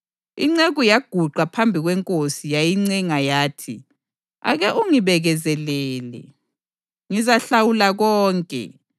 Inceku yaguqa phambi kwenkosi yayincenga yathi, ‘Ake ungibekezelele, ngizahlawula konke.’